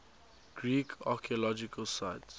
greek archaeological sites